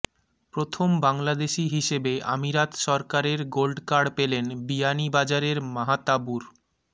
প্রথম বাংলাদেশি হিসেবে আমিরাত সরকারের গোল্ডকার্ড পেলেন বিয়ানীবাজারের মাহতাবুর